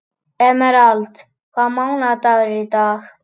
Emerald, hvaða mánaðardagur er í dag?